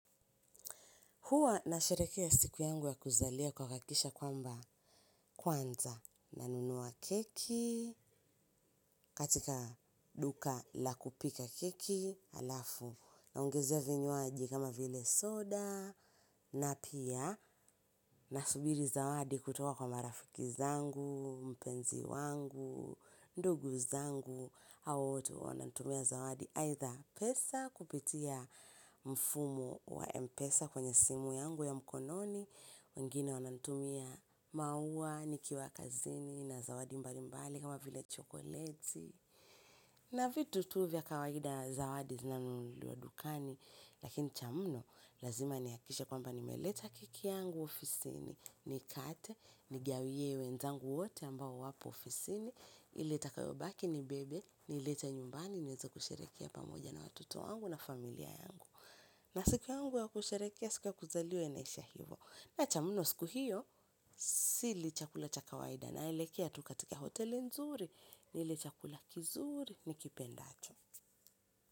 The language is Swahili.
Hua nasherekea siku yangu ya kuzalia kwa kuhakisha kwamba kwanza nanunua keki katika duka la kupika keki alafu naongezea vinywaji kama vile soda na pia nasubiri zawadi kutoka kwa marafiki zangu, mpenzi wangu, ndugu zangu, hao wote wananitumia zawadi. Either pesa, kupitia mfumo wa mpesa kwenye simu yangu ya mkononi. Wengine wananitumia maua, nikiwa kazini, na zawadi mbalimbali kama vile chokoleti. Na vitu tu vya kawaida zawadi zinanunuliwa dukani. Lakini cha mno, lazima nihakikishe kwamba nimeleta keki yangu ofisini nikate, nigawie wenzangu wote ambao wapo ofisini. Ile itakayobaki nibebe niilete nyumbani niweze kusherekea pamoja na watoto wangu na familia yangu. Na siku yangu ya kusherekea siku ya kuzaliwa inaisha hivo. Na cha muno siku hiyo sili chakula cha kawaida naelekea tu katika hoteli nzuri nile chakula kizuri nikipendacho.